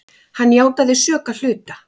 Hann játaði sök að hluta.